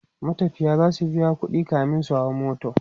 matafiya zasu biya ƙuɗi kamin su hau mota